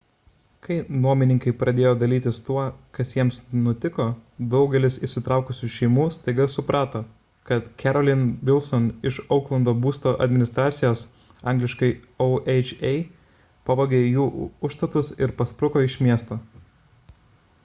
kai nuomininkai pradėjo dalytis tuo kas jiems nutiko daugelis įsitraukusių šeimų staiga suprato kad carolyn wilson iš ouklando būsto administracijos angl. oha pavogė jų užstatus ir paspruko iš miesto